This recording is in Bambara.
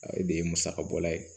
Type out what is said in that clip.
O de ye musakabɔla ye